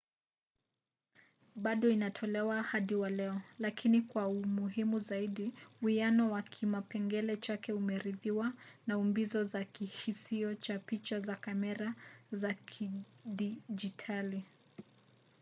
bado inatolewa hadi wa leo lakini kwa umuhimu zaidi uwiano wa kipengele chake umerithiwa na umbizo za kihisio cha picha za kamera za kidijitali